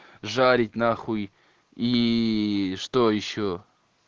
жарить на хуй иии что ещё